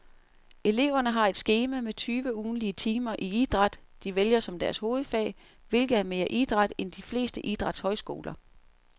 Eleverne har et skema med tyve ugentlige timer i den idræt, de vælger som deres hovedfag, hvilket er mere idræt end de fleste idrætshøjskoler.